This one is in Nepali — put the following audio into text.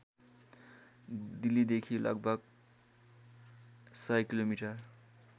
दिल्लीदेखि लगभग १०० किलोमिटर